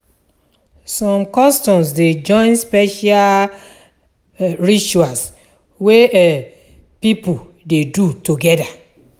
Som customs dey join special rituals wey pipo dey do togeda.